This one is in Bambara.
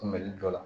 Kunbɛli dɔ la